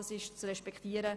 Das ist zu respektieren!